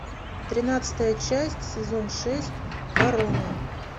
тринадцатая часть сезон шесть корона